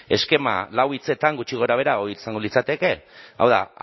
ezta eskema lau hitzetan gutxi gorabehera hori izango litzateke hau da